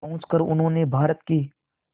पहुंचकर उन्होंने भारत की